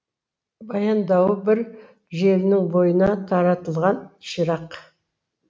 баяндауы бір желінің бойына таратылған ширақ